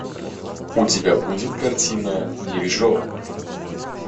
у тебя будет картина дирижер